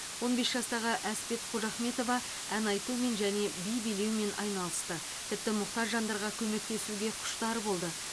он бес жастағы әспет қожахметова ән айтумен және би билеумен айналысты тіпті мұқтаж жандарға көмектесуге құштар болды